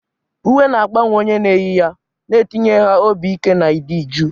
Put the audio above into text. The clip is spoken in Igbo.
Uwe na-agbanwe onye na-eyi ya, na-etinye ha obi ike na ịdị jụụ.